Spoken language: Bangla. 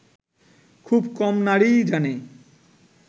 খুব কম নারীই জানে